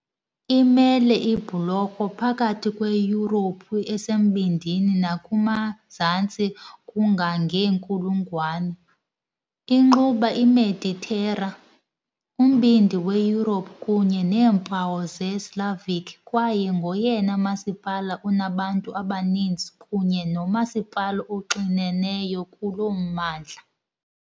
Imele ibhulorho phakathi kweYurophu esembindini nakumazantsi kangangeenkulungwane, inquba iMeditera, uMbindi weYurophu kunye neempawu zeSlavic kwaye ngoyena masipala unabantu abaninzi kunye nomasipala oxineneyo kulo mmandla .